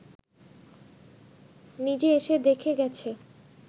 নিজে এসে দেখে গেছে